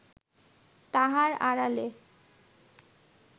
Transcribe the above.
তাহার আড়ালে